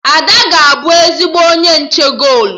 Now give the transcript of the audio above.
Ada ga-abụ ezigbo onye nche golu